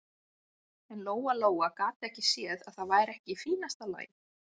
En Lóa-Lóa gat ekki séð að það væri ekki í fínasta lagi.